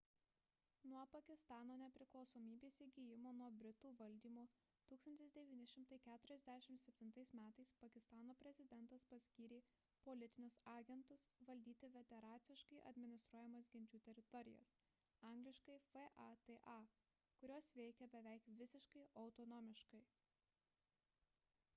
nuo pakistano nepriklausomybės įgijimo nuo britų valdymo 1947 m. pakistano prezidentas paskyrė politinius agentus valdyti federaciškai administruojamas genčių teritorijas angl. fata kurios veikia beveik visiškai autonomiškai